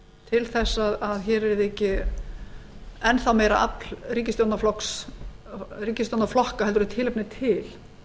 til að hér yrði ekki enn þá meira afl ríkisstjórnarflokka heldur en tilefni er til